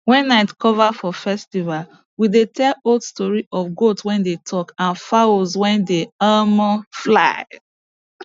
when night cover for festival we dey tell old stories of goat wey dey talk and fowls wey dey fly